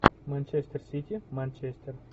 манчестер сити манчестер